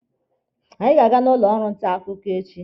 Anyị ga-aga n'ụlọ ọrụ nta akụkọ echi.